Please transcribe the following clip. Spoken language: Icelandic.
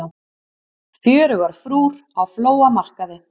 Fjörugar frúr á flóamarkaði